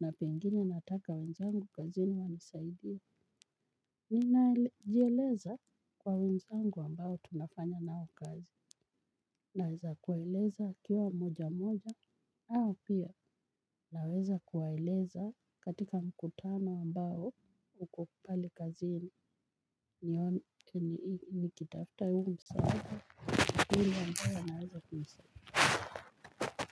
na pengini nataka wenzangu kazi ni wanisaidia. Nina jieleza kwa wenzangu ambao tunafanya nao kazi. Naweza kuwaeleza wakiwa moja moja au pia naweza kuwaeleza katika mkutano ambao uko pale kazini nikiitafta yungu msa hili wambao naweza kumsa kwa hivyo.